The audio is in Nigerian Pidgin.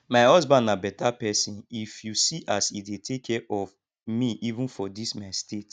my husband na beta person if you see as he dey take care of me even for dis my state